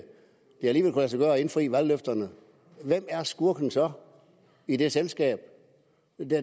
sig gøre at indfri valgløfterne hvem er skurken så i det selskab